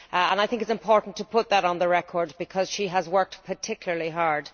I think it is important to put that on the record because she has worked particularly hard.